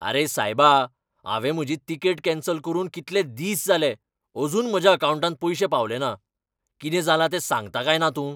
आरे सायबा, हांवें म्हजी तिकेट कॅन्सल करून कितले दीस जाले, अजून म्हज्या अकावंटांत पयशे पावले ना. कितें जालां तें सांगता काय ना तूं?